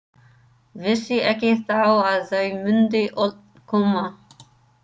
Vissi ekki þá að þau mundu öll koma.